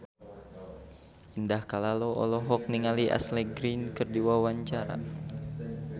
Indah Kalalo olohok ningali Ashley Greene keur diwawancara